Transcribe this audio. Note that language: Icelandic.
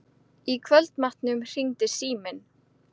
Í kvöldmatnum hringdi síminn.